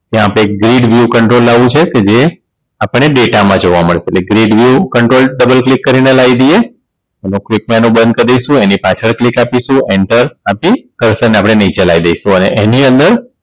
ત્યાં આપણે Gid View Control લાવવું છે કે જે આપણને data માં જોવા મળે એટલે Gid View Control Double click કરીને લાઇ દઈએ ક્રિપ માં એનું બંધ કરીશું એની પાછળ click આપીશું enter આપી Cursor ને આપણે નીચે લાઇ દઈશું અને એની અંદર